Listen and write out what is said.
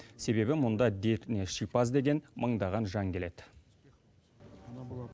себебі мұнда дертіне шипа іздеген мыңдаған жан келеді